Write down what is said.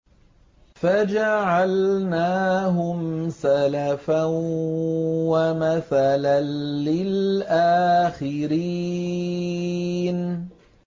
فَجَعَلْنَاهُمْ سَلَفًا وَمَثَلًا لِّلْآخِرِينَ